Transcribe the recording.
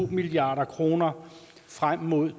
milliard kroner frem mod